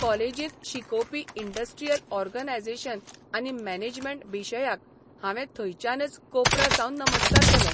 कॉलेजींत शिकोवपी industrial organisation आनी मॅनेजमेंट बिशयाक हावें थंयच्यानच कोपरासावन नमस्कार केलो.